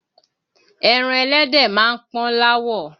Ẹran ẹlẹ́dẹ̀ máa ń pọ́n l'áwọ̀